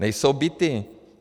Nejsou byty.